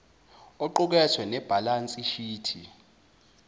oqukethe nebhalansi shithi